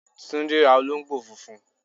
Túndé ra olóńgbò funfun